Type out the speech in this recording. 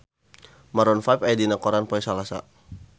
Maroon 5 aya dina koran poe Salasa